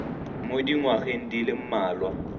mo dingwageng di le mmalwa